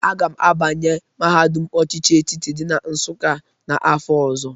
Aga m abanye mahadụm ochịchị etiti dị na Nsụkka n'afọ ọzọ.